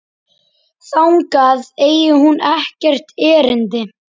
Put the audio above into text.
Þangað eigi hún ekkert erindi.